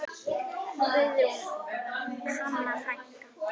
Guðrún Hanna frænka.